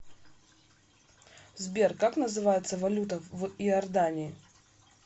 сбер как называется валюта в иордании